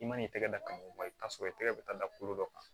I man'i tɛgɛ da ka mɔgɔ i bɛ t'a sɔrɔ i tɛgɛ bɛ taa da kolo dɔ kan